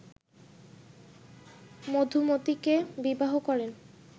মধুমতীকে বিবাহ করেন